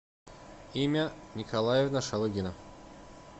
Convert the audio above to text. имя николаевна шалыгина